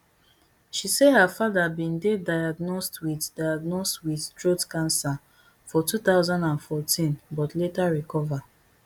she say her father bin dey diagnosed with diagnosed with throat cancer for two thousand and fourteen but later recover